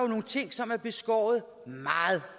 nogle ting som er beskåret meget